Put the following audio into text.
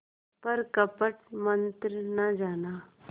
पर कपट मन्त्र न जाना